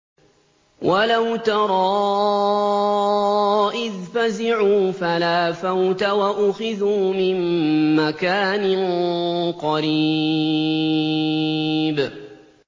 وَلَوْ تَرَىٰ إِذْ فَزِعُوا فَلَا فَوْتَ وَأُخِذُوا مِن مَّكَانٍ قَرِيبٍ